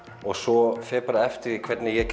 og svo fer bara eftir því hvernig ég